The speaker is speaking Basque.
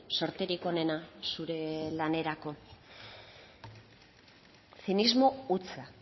zorterik onena zure lanerako zinismo hutsa